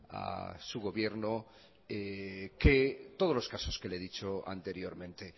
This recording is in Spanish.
a su gobierno que todos los casos que le he dicho anteriormente